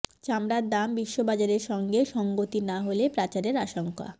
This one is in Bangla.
চামড়ার দাম বিশ্ববাজারের সঙ্গে সঙ্গতি না হলে পাচারের আশঙ্কা